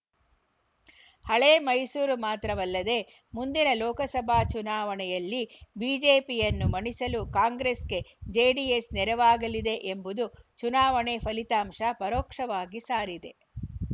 ಹಳೆ ಮೈಸೂರು ಮಾತ್ರವಲ್ಲದೆ ಮುಂದಿನ ಲೋಕಸಭಾ ಚುನಾವಣೆಯಲ್ಲಿ ಬಿಜೆಪಿಯನ್ನು ಮಣಿಸಲು ಕಾಂಗ್ರೆಸ್‌ಗೆ ಜೆಡಿಎಸ್‌ ನೆರವಾಗಲಿದೆ ಎಂಬುದು ಚುನಾವಣೆ ಫಲಿತಾಂಶ ಪರೋಕ್ಷವಾಗಿ ಸಾರಿದೆ